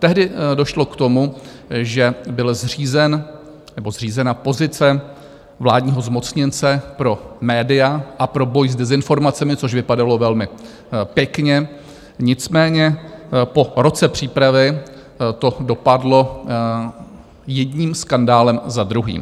Tehdy došlo k tomu, že byla zřízena pozice vládního zmocněnce pro média a pro boj s dezinformacemi, což vypadalo velmi pěkně, nicméně po roce přípravy to dopadlo jedním skandálem za druhým.